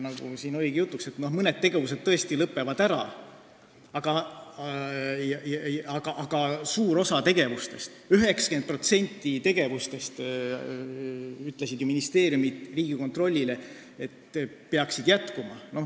Nagu siin jutuks oli, mõned tegevused tõesti lõpevad ära, aga suur osa, 90% tegevustest – nii ütlesid ju ministeeriumid Riigikontrollile – peaksid jätkuma.